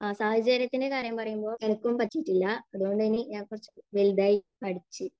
സാഹചര്യത്തിന്റെ കാര്യം പറയുമ്പോൾ എനിക്കും പറ്റിയിട്ടില്ല. അതുകൊണ്ട് ഇനി ഞാൻ കുറച്ച് വലുതായി പഠിച്ച്